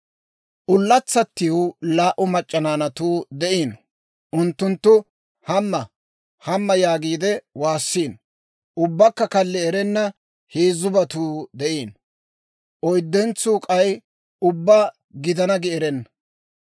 Ullatsatiw laa"u mac'c'a naanatuu de'iino. Unttunttu, «Hamma! Hamma!» yaagiide waassiino. Ubbakka kalli erenna heezzubatuu de'iino; oyddentsuu k'ay ubbaa, «Gidana» gi erenna.